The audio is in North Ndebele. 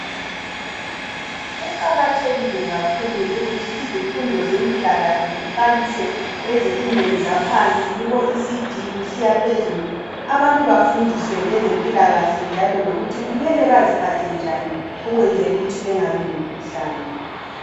Kuqakathekile kakhulu ukuthi izifundo zempilakahle ziqalise ezifundweni zaphansi kubo Ecd kusiya phezulu. Abantu bafundiswe ngezempilakahle njalo lokuthi kumele baziphathe njani ukwenzela ukuthi bengabi lemikhuhlane.